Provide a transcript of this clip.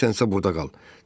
İstəyirsənsə, burda qal.